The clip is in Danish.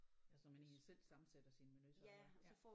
Ja så man egentlig selv sammensætter sin menu som man ja